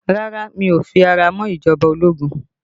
Rárá, mi ò fi ara mọ́ ìjọba ológun